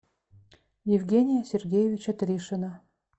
евгения сергеевича тришина